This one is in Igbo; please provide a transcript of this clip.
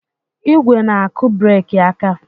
ígwè na-akụ breeki aka.